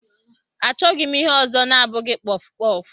Achọghị m ihe ọzọ na-abụghị kpọf kpọf.